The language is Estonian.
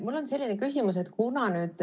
Mul on selline küsimus.